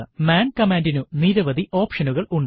മാൻ കമാൻഡിനു നിരവധി ഓപ്ഷനുകൾ ഉണ്ട്